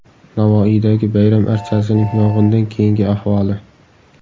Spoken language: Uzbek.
Navoiydagi bayram archasining yong‘indan keyingi ahvoli.